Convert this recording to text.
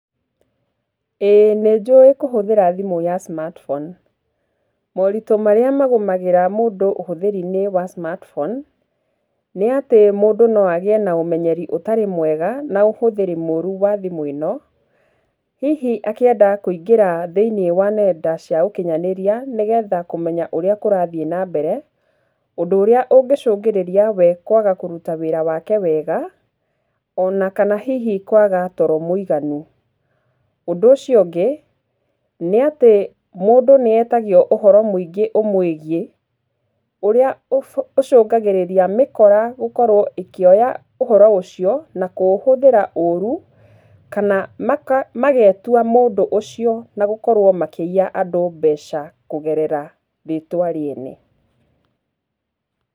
Ĩĩ nĩ njũĩ kũhũthĩra thimũ ya smartphone. Moritũ marĩa magũmagĩra mũndũ ũhũthĩri-inĩ wa thimũ ya cs] smartphone nĩ atĩ mũndũ no agĩe na ũmenyeri ũtarĩ mwega na ũhũthĩri mũũru wa thimũ ĩno. Hihi akĩenda kũingĩra thĩinĩ wa nenda cia ũkinyanĩria akĩenda kũmenya ũrĩa kũrathiĩ na mbere. Ũndũ ũrĩa ũngĩcũngĩrĩria we kwaga kũruta wĩra wake wega ona kana hihi kwaga toro mũiganu. Ũndũ ũcio ũngĩ nĩ atĩ mũndũ nĩetagio ũhoro mũingĩ ũmũĩgiĩ, ũrĩa ũcũngagĩrĩria mĩkora gũkorwo ĩkĩoya ũhoro ũcio na kũũhũthĩra ũũru. Kana magetua mũndũ ũcio na gũkorwo makĩiya mũndũ mbeca kũgerera rĩtwa rĩene.